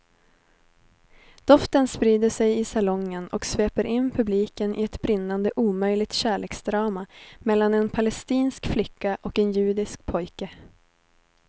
Doften sprider sig i salongen och sveper in publiken i ett brinnande omöjligt kärleksdrama mellan en palestinsk flicka och en judisk pojke.